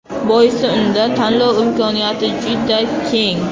Boisi unda tanlov imkoniyati juda keng.